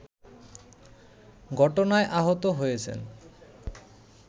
ঘটনায় আহত হয়েছেন